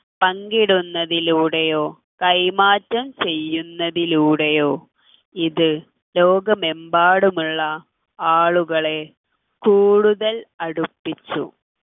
പങ്കിടുന്നതിലൂടെയോ കൈമാറ്റം ചെയ്യുന്നതിലൂടെയോ ഇത് ലോകമെമ്പാടുമുള്ള ആളുകളെ കൂടുതൽ അടുപ്പിച്ചു